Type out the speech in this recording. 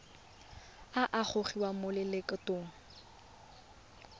a a gogiwang mo lokgethong